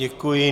Děkuji.